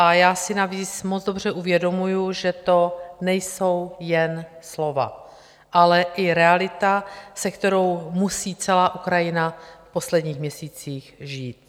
A já si navíc moc dobře uvědomuji, že to nejsou jen slova, ale i realita, se kterou musí celá Ukrajina v posledních měsících žít.